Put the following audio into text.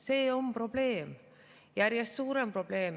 See on probleem, järjest suurem probleem.